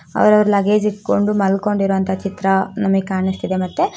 ಅವರ ಅವರ್ ಲಗೇಜೆ ಇಟ್ಟಕೊಂಡು ಮಲ್ಕೊಂಡ ಇರುವಂತ ಚಿತ್ರ ನಮಗೇ ಕಾಣುಸ್ತಿದೆ ಮತ್ತೆ --